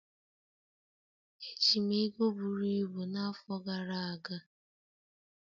Eji m ego buru ibu n'afọ gara aga.